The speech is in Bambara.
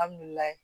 Alihamudulilayi